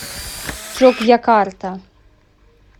джокьякарта